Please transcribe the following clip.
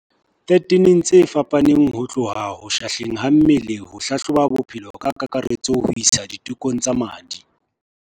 13 tse fapafapa neng ho tloha ho shahleng ha mmele ho hlahloba bophelo ka kakaretso ho isa ditekong tsa madi.